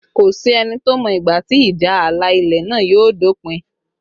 Kò sí ẹni tó mọ ìgbà tí ìjà ààlà ilẹ̀ náà yóò dópin